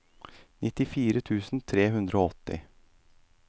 nittini tusen tre hundre og åtti